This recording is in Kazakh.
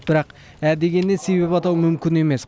бірақ ә дегеннен себеп атау мүмкін емес